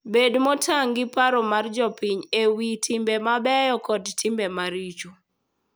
Bed motang' gi paro mag jopiny e wi timbe mabeyo koda timbe maricho.